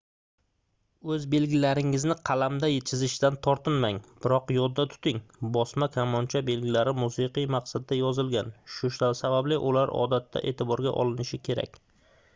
oʻz belgilaringizni qalamda chizishdan tortinmang biroq yodda tuting bosma kamoncha belgilari musiqiy maqsadda yozilgan shu sababli ular odatda eʼtiborga olinishi kerak